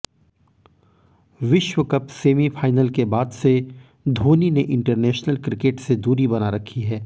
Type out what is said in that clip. विश्व cup semifinal के बाद से धोनी ने इंटरनेशनल क्रिकेट से दूरी बना रखी है